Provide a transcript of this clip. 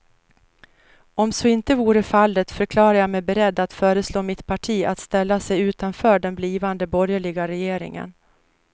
Om så inte vore fallet förklarade jag mig beredd att föreslå mitt parti att ställa sig utanför den blivande borgerliga regeringen.